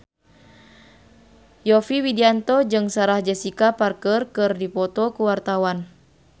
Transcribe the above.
Yovie Widianto jeung Sarah Jessica Parker keur dipoto ku wartawan